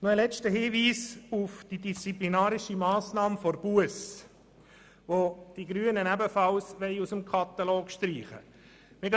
Noch einen letzten Hinweis zu der disziplinarischen Massnahme der Busse, welche die Grünen ebenfalls aus dem Katalog streichen wollen.